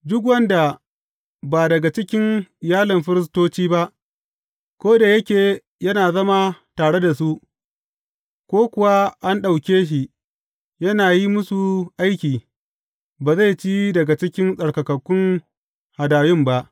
Duk wanda ba daga cikin iyalin firistoci ba, ko da yake yana zama tare da su, ko kuwa an ɗauke shi yana yin musu aiki, ba zai ci daga cikin tsarkakakkun hadayun ba.